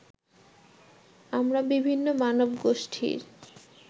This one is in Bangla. আমরা বিভিন্ন মানবগোষ্ঠীর